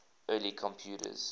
early computers